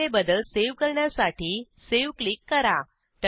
केलेले बदल सेव्ह करण्यासाठी सावे क्लिक करा